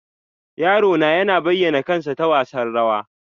Yaro na yana bayyana kansa ta wasan rawa.